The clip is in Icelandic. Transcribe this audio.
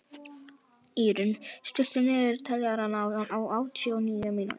Írunn, stilltu niðurteljara á áttatíu og níu mínútur.